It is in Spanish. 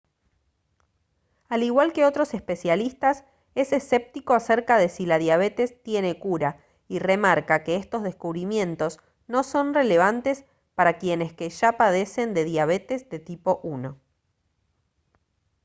al igual que otros especialistas es escéptico acerca de si la diabetes tiene cura y remarca que estos descubrimientos no son relevantes para quienes que ya padecen de diabetes de tipo 1